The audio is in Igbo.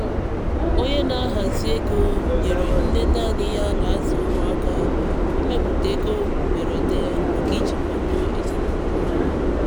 onye na-ahazi ego nyeere nne nanị ya na-azụ ụmụ aka ịmepụta ego mberede maka iji kwado ezinụlọ ya.